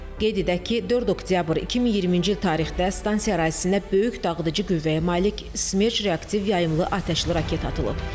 Qeyd edək ki, 4 oktyabr 2020-ci il tarixdə stansiya ərazisinə böyük dağıdıcı qüvvəyə malik Smerç reaktiv yaymlı atəşli raket atılıb.